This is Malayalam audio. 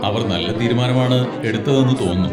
അവർ നല്ല തീരുമാനമാണ് എടുത്തതെന്ന് തോന്നുന്നു.